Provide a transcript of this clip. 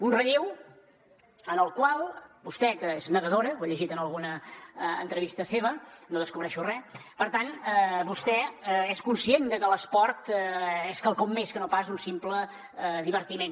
un relleu en el qual vostè que és nedadora ho he llegit en alguna entrevista seva no descobreixo res vostè és conscient de que l’esport és quelcom més que no pas un simple divertiment